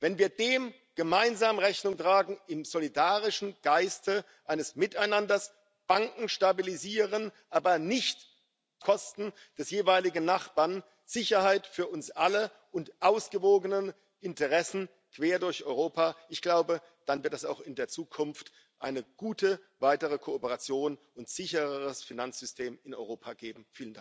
wenn wir dem gemeinsam Rechnung tragen im solidarischen Geiste eines Miteinanders, wenn wir Banken stabilisieren aber nicht auf Kosten des jeweiligen Nachbarn, wenn wir Sicherheit für uns alle und ausgewogene Interessen quer durch Europa anstreben, ich glaube, dann wird es auch in der Zukunft eine gute weitere Kooperation und ein sichereres Finanzsystem in Europa geben.